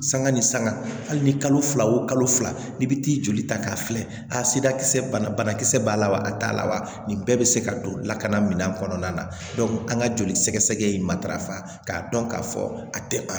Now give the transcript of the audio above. Sanga ni sanga hali ni kalo fila o kalo fila i bi t'i joli ta k'a filɛda kisɛ bana kisɛ b'a la wa a t'a la wa nin bɛɛ bɛ se ka don lakana mina kɔnɔna na an ka joli sɛgɛsɛgɛ ye matarafa k'a dɔn k'a fɔ a tɛ a